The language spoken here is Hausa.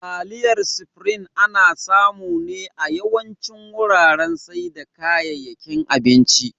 Taliyar supreme ana samu ne a yawancin wuraren saida kayakin abinci